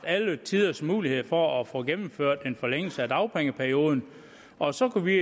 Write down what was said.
alle tiders mulighed for at få gennemført en forlængelse af dagpengeperioden og så skulle vi